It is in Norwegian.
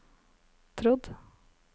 trodd